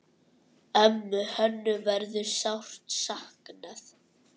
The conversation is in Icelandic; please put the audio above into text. Ömmu Hönnu verður sárt saknað.